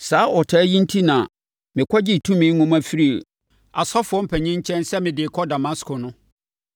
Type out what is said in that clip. “Saa ɔtaa yi enti na mekɔgyee tumi nwoma firii asɔfoɔ mpanin nkyɛn sɛ mede rekɔ Damasko no.